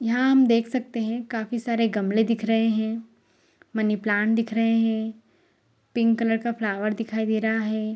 यहाँ हम देख सकते हैं काफी सारे गमले दिख रहे हैं मनी प्लांट दिख रहे हैं पिंक कलर का फ्लावर दिखाई दे रहा है।